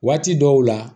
Waati dɔw la